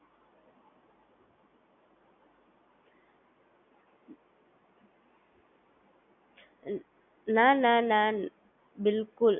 Continue રહે છે, ચાલુ ને ચાલુ.